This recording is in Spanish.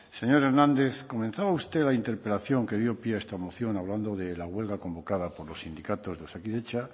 señor hernández comenzaba usted la interpelación que dio pie a esta moción hablando de la huelga convocada por los sindicatos de osakidetza